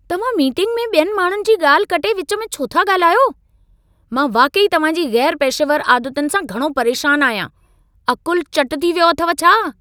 तव्हां मीटिंग में ॿियनि माण्हुनि जी ॻाल्हि कटे विच में छो था ॻाल्हायो? मां वाक़ई तव्हांजी गै़रु पेशेवर आदतुनि सां घणो परेशानु आहियां। अक़ुलु चट थी वियो अथव छा?